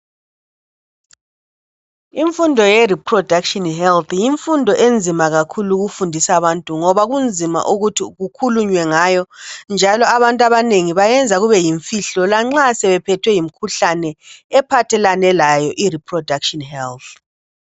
Imfundo yereproduction health, yimfundo enzima kakhulu ukufundisa abantu ngoba kunzima kakhulu ukuthi kukhulunywe ngayo. Njalo abantu abanengi bayenza kube yimfihlo lanxa sebephethwe yiyo imikhuhlane ephathelane layo ireproduction health.